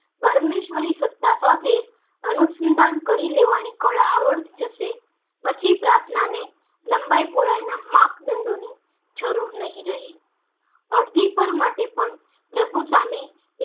પરમેશ્વરી સતા પાસે અનુસંધાન કરી લેવાની કળા આવડી જશે પછી પ્રાર્થના ને લંબાઈ પોહલાઈ ના માપદંડો ની જરૂર નહી રહે અરજી કોર માટે પણ પ્રભુ સામે